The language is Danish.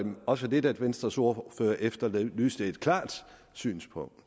også lidt at venstres ordfører efterlyste et klart synspunkt